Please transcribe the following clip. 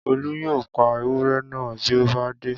Olú yóò pa ewúré náà bí ó bá dé